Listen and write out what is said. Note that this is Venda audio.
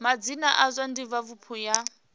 madzina a zwa divhavhupo ya